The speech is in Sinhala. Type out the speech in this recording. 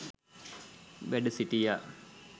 වැඩ සිටියා.